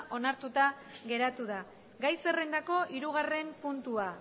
onartuta geratu da gai zerrendako hirugarren puntua